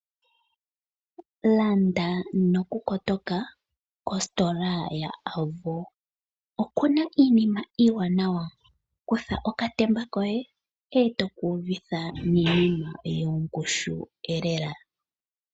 Landa nokukotoka kositola yAvo. Okuna iinima iiwanawa, kutha okatemba koye eto kuudhitha niinima yongushu lela.